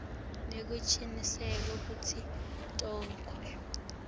nekucinisekisa kutsi tonkhe